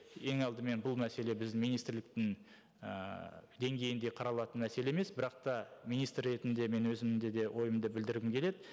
ең алдымен бұл мәселе біз министрліктің ыыы деңгейінде қаралатын мәселе емес бірақ та министр ретінде мен өзімнің де де ойымды білдіргім келеді